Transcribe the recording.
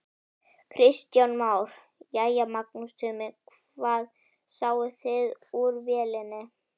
Kristján Már: Jæja Magnús Tumi, hvað sáuð þið úr vélinni?